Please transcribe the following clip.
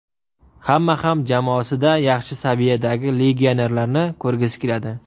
Hamma ham jamoasida yaxshi saviyadagi legionerlarni ko‘rgisi keladi.